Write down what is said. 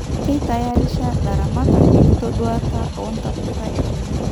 Keitayarisha ilaramatak enkitoduata o ntapuka enye